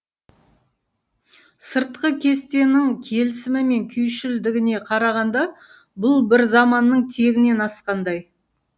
сыртқы кестенің келісімі мен күйшілдігіне қарағанда бұл бір заманның тегінен асқандай